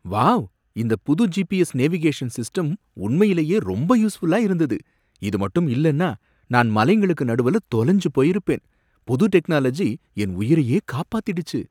Wow! இந்த புது GPS navigation system உண்மையிலேயே ரொம்ப யூஸ்ஃபுல்லா இருந்தது, இது மட்டும் இல்லன்னா நான் மலைங்களுக்கு நடுவுல தொலைஞ்சு போயிருப்பேன். புது டெக்னாலஜி என் உயிரையே காப்பாத்திடுச்சு.